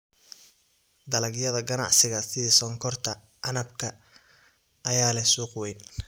Dalagyada ganacsiga sida sonkorta canabka ayaa leh suuq weyn.